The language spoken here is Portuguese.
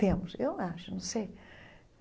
Temos, eu acho, não sei.